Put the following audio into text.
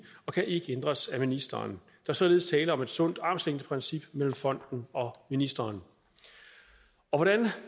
og kan ikke ændres af ministeren er således tale om et sundt armslængdeprincip mellem fonden og ministeren hvordan